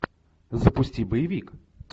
запусти боевик